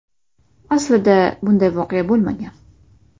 Aslida esa bunday voqea bo‘lmagan.